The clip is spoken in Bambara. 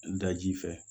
Daji fɛ